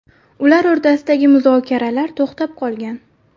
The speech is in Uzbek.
Ular o‘rtasidagi muzokaralar to‘xtab qolgan .